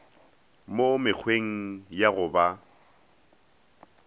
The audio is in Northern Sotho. mo mekgweng ya go ba